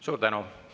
Suur tänu!